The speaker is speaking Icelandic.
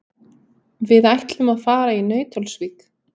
Við ætlum að fara í Nauthólsvík.